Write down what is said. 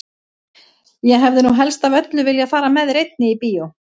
Ég hefði nú helst af öllu viljað fara með þér einni í bíó!